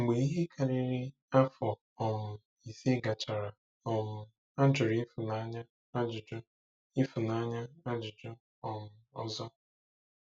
Mgbe ihe karịrị afọ um ise gachara, um a jụrụ Ifunanya ajụjụ Ifunanya ajụjụ um ọzọ.